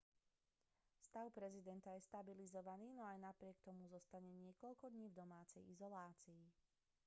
stav prezidenta je stabilizovaný no aj napriek tomu zostane niekoľko dní v domácej izolácii